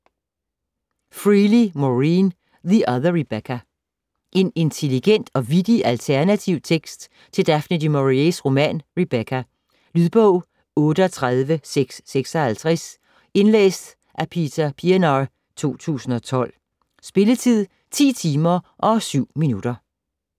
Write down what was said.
Freely, Maureen: The other Rebecca En intelligent og vittig alternativ tekst til Daphne du Maurier's roman Rebecca. Lydbog 38656 Indlæst af Peter Pienaar, 2012. Spilletid: 10 timer, 7 minutter.